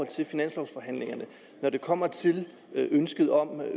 til finanslovforhandlingerne når det kommer til ønsket om